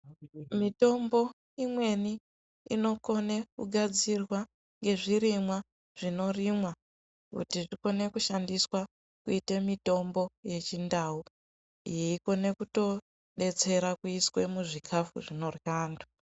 Mitombo imweni inokone kugadzirwa ngezvirimwa zvinorimwa kuti zvikone kushandiswa kuite mitombo yechindau yeikone kutodetsera kuiswa muzvikafu zvinorya antu.